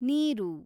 ನೀರು